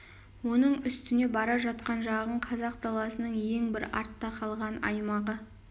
оның үстіне бара жатқан жағың қазақ даласының ең бір артта қалған аймағы